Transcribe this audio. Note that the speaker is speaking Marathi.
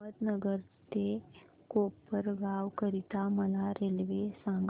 अहमदनगर ते कोपरगाव करीता मला रेल्वे सांगा